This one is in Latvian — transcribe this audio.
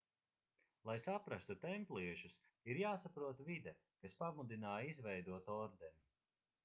lai saprastu templiešus ir jāsaprot vide kas pamudināja izveidot ordeni